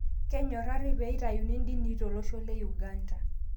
Kenyorari peeitayuni indinii tolosho le Uganda